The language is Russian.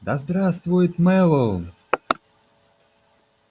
да здравствует мэллоу